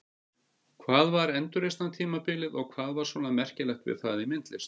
Hvað var endurreisnartímabilið og hvað var svona merkilegt við það í myndlist?